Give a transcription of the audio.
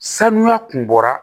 Sanuya kun bɔra